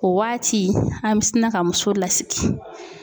O waati an bɛ sina ka muso lasigi.